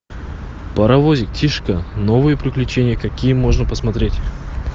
паровозик тишка новые приключения какие можно посмотреть